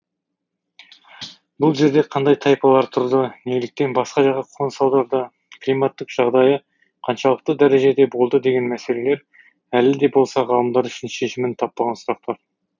бұл жерде кандай тайпалар тұрды неліктен басқа жаққа қоныс аударды климаттық жағдайы қаншалықты дәрежеде болды деген мәселелер әлі де болса ғалымдар үшін шешімін таппаған сұрақтар